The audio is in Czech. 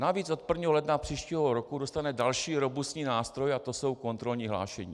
Navíc od 1. ledna příštího roku dostane další robustní nástroj a to jsou kontrolní hlášení.